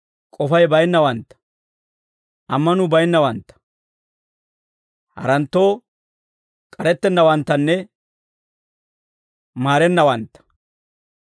k'ofay baynnawantta, ammanuu baynnawantta, haranttoo k'arettennawanttanne maarennawantta.